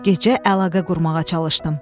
Gecə əlaqə qurmağa çalışdım.